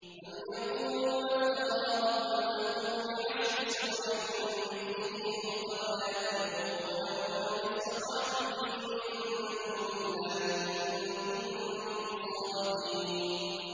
أَمْ يَقُولُونَ افْتَرَاهُ ۖ قُلْ فَأْتُوا بِعَشْرِ سُوَرٍ مِّثْلِهِ مُفْتَرَيَاتٍ وَادْعُوا مَنِ اسْتَطَعْتُم مِّن دُونِ اللَّهِ إِن كُنتُمْ صَادِقِينَ